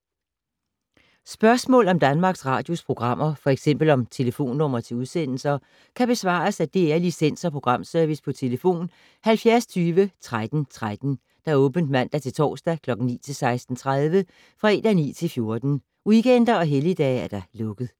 Spørgsmål om Danmarks Radios programmer, f.eks. om telefonnumre til udsendelser, kan besvares af DR Licens- og Programservice: tlf. 70 20 13 13, åbent mandag-torsdag 9.00-16.30, fredag 9.00-14.00, weekender og helligdage: lukket.